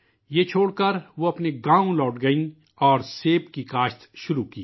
یہ چھوڑ کر وہ اپنے گاؤں لوٹ گئیں اور سیب کی کھیتی شروع کی